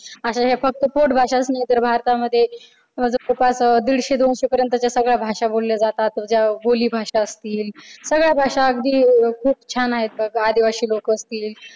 अश्या या फक्त पोटभाष्याचं नाही, तर भारतामध्ये जवळपास दीडशे दोनशे पर्यंतच्या भाषा बोलल्या जातात. ज्या बोलीभाषा असतील सगळ्याच भाषा अगदी खूप छान आहेत. आदिवासी लोक असतील.